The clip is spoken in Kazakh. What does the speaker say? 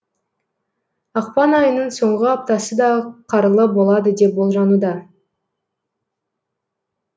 ақпан айының соңғы аптасы да қарлы болады деп болжануда